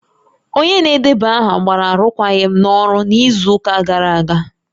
Onye na-edeba aha gbara arụkwaghịm n'ọrụ n'izu ụka gara aga